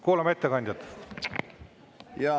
Kuulame ettekandjat!